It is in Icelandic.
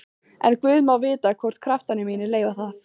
En guð má vita hvort kraftar mínir leyfa það.